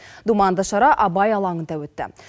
думанды шара абай алаңында өтті